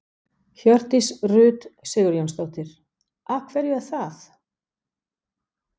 Hjördís Rut Sigurjónsdóttir: Af hverju er það?